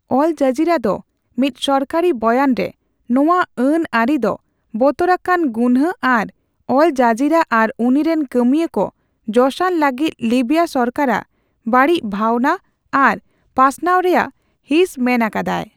ᱚᱞ Jazeera ᱫᱚ ᱢᱤᱫ ᱥᱚᱨᱠᱟᱨᱤ ᱵᱚᱭᱟᱱ ᱨᱮ, ᱱᱚᱣᱟ ᱟᱹᱱ ᱟᱹᱨᱤ ᱫᱚ 'ᱵᱚᱛᱚᱨᱟᱠᱟᱱ ᱜᱩᱱᱦᱟᱹ' ᱟᱨ 'ᱚᱞ ᱡᱚᱡᱤᱨᱟ ᱟᱨ ᱩᱱᱤᱨᱤᱱ ᱠᱟᱹᱢᱩᱣᱟ ᱠᱚ ᱡᱚᱥᱟᱱ ᱞᱟᱹᱜᱤᱫ ᱞᱤᱵᱤᱭᱟ ᱥᱚᱨᱠᱟᱨ ᱨᱟᱜ ᱵᱟᱹᱲᱤᱡ ᱵᱷᱟᱣᱱᱟ ᱟᱱ ᱯᱟᱥᱱᱟᱣ ᱨᱮᱭᱟᱜ ᱦᱤᱸᱥ' ᱢᱮᱱᱟᱠᱟᱫᱟᱭ᱾